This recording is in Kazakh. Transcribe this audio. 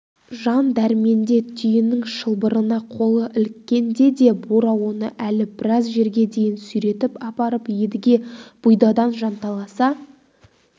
жан дәрменде түйенің шылбырына қолы іліккенде де бура оны әлі біраз жерге дейін сүйретіп апарып едіге бұйдадан жанталаса